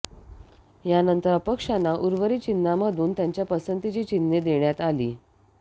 यानंतर अपक्षांना उर्वरित चिन्हांमधून त्यांच्या पसंतीची चिन्हे देण्यात आली